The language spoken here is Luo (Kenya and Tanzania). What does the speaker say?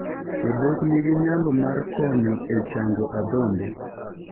Odok nigi nyalo mar konyo e chango adhonde.